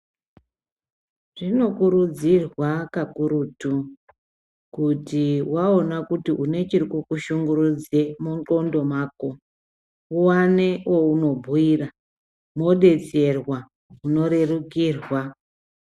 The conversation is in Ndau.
Zvinokurudzirwa kakurutu kuti waona kuti une chirikukushungurudza mundhlondo mako uwane waunobhuira wodetserwa ,unorerukirwa